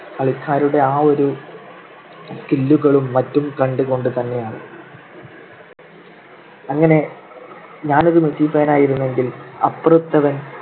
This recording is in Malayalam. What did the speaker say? കളിക്കാരുടെ ആ ഒരു skill കളും മറ്റും കണ്ടുകൊണ്ടുതന്നെയാണ്. അങ്ങനെ ഞാൻ ഒരു മെസ്സി fan ആയിരുന്നുവെങ്കിൽ അപ്പുറത്തവൻ